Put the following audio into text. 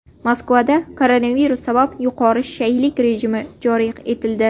Moskvada koronavirus sabab yuqori shaylik rejimi joriy etildi.